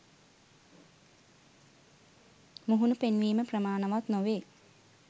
මුහුණ පෙන්වීම ප්‍රමාණවත් නොවේ